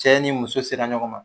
Cɛ ni muso sera ɲɔgɔn ma